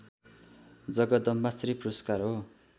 जगदम्बाश्री पुरस्कार हो